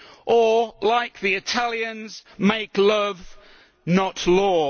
or, like the Italians, make love not law.